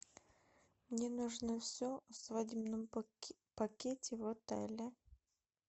мне нужно все о свадебном пакете в отеле